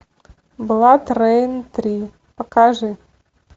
бладрейн три покажи